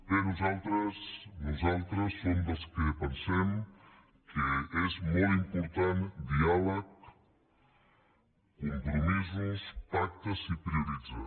bé nosaltres som dels que pensem que és molt important diàleg compromisos pactes i prioritzar